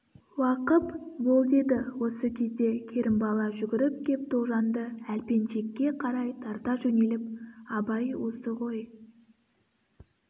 уақып бол деді осы кезде керімбала жүгіріп кеп тоғжанды әлпеншекке қарай тарта жөнеліп абай осы ғой